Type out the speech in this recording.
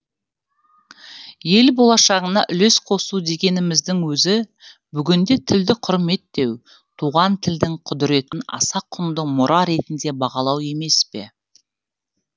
ел болашағына үлес қосу дегеніміздің өзі бүгінде тілді құрметтеу туған тілдің құдіретін аса құнды мұра ретінде бағалау емес пе